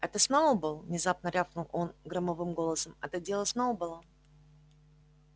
это сноуболл внезапно рявкнул он громовым голосом это дело сноуболла